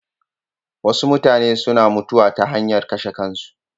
Wasu mutane suna mutuwa ta hanyar kashe kansu.